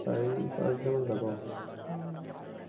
চাৰি পাছ হেজাৰ মান যাব অ